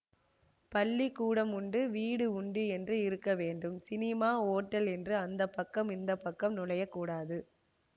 பள்ளி கூடம் உண்டு வீடு உண்டு என்று இருக்க வேண்டும் சினிமா ஓட்டல் என்று அந்தப்பக்கம் இந்தப்பக்கம் நுழையக் கூடாது